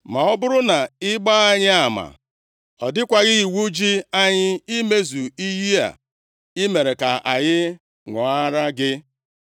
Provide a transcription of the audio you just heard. Ma ọ bụrụ na ị gbaa anyị ama, ọ dịkwaghị iwu ji anyị imezu iyi a i mere ka anyị ṅụọrọ gị.”